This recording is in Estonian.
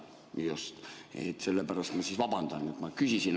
Sellepärast ma vabandan, et ma küsisin.